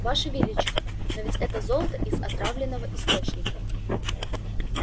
ваше величество но ведь это золото из отравленного источника